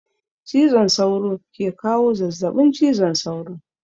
Cizon sauro ke kawo zazzabin cizon sauro